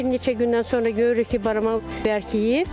Bir neçə gündən sonra görürük ki, barama bərkiyib.